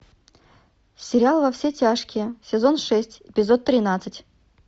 сериал во все тяжкие сезон шесть эпизод тринадцать